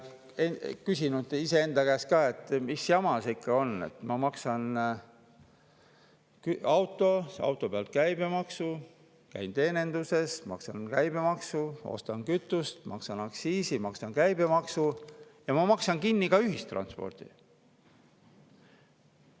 Ma olen alati küsinud iseenda käest, et mis jama see ikka on, et ma maksan auto eest, auto pealt käibemaksu, käin teeninduses, maksan käibemaksu, ostan kütust, maksan aktsiisi, maksan käibemaksu ja maksan kinni ka ühistranspordi.